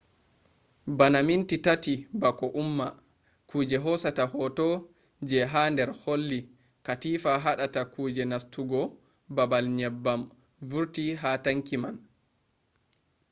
bana minti 3 bako umma kuje hosata hoto je ha der holli katifa hadata kuje nastugo babal nyebbam vurti ha tanki man